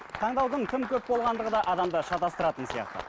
таңдаудың тым көп болғандығы да адамды шатастыратын сияқты